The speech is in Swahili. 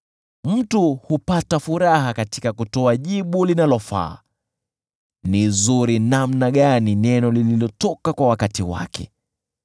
Mtu hupata furaha katika kutoa jibu linalofaa: je, ni zuri namna gani neno lililotoka kwa wakati wake!